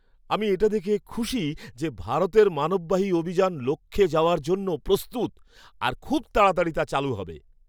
আমি এটা দেখে খুশি যে ভারতের মানববাহী অভিযান লক্ষ্যে যাওয়ার জন্য প্রস্তুত আর খুব তাড়াতাড়ি তা চালু হবে।